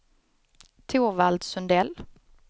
Torvald Sundell